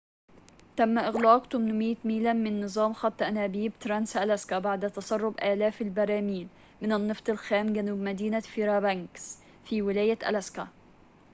تم إغلاق 800 ميلاً من نظام خط أنابيب ترانس ألاسكا بعد تسرب آلاف البراميل من النفط الخام جنوب مدينة فيربانكس في ولاية ألاسكا